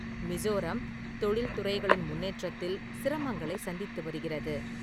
மிசோரம் தொழில்துறைகளின் முன்னேற்றத்தில் சிரமங்களைச் சந்தித்து வருகிறது.